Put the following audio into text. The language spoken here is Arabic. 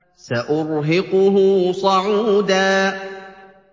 سَأُرْهِقُهُ صَعُودًا